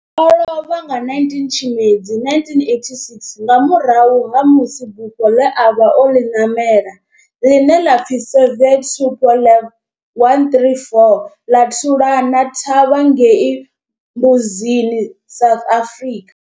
O lovha nga 19 Tshimedzi 1986 nga murahu ha musi bufho le a vha o ḽi namela, ḽine ḽa pfi Soviet Tupolev 134 ḽa thulana thavha ngei Mbuzini, South Africa.